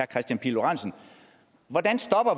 kristian pihl lorentzen hvordan